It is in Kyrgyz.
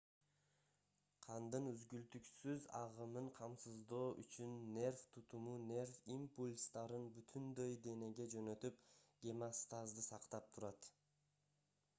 кандын үзгүлтүксүз агымын камсыздоо үчүн нерв тутуму нерв импульстарын бүтүндөй денеге жөнөтүп гемостазды сактап турат